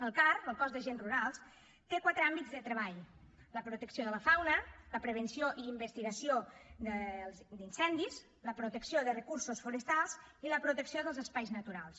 el car el cos d’agents rurals té quatre àmbits de treball la protecció de la fauna la prevenció i investigació d’incendis la protecció de recursos forestals i la protecció dels espais naturals